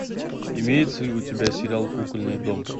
имеется ли у тебя сериал кукольный дом